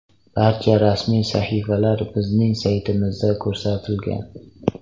Barcha rasmiy sahifalar bizning saytimizda ko‘rsatilgan”.